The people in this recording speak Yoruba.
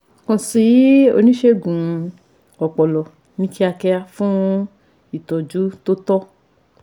Kàn sí oníṣègùn ọpọlọ ní kíákíá fún ìtọ́jú tó tọ́